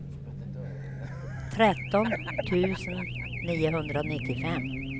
tretton tusen niohundranittiofem